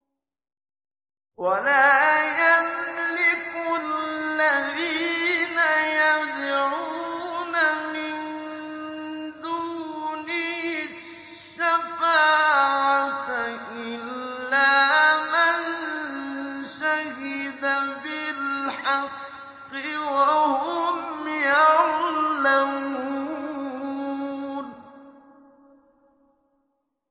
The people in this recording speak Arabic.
وَلَا يَمْلِكُ الَّذِينَ يَدْعُونَ مِن دُونِهِ الشَّفَاعَةَ إِلَّا مَن شَهِدَ بِالْحَقِّ وَهُمْ يَعْلَمُونَ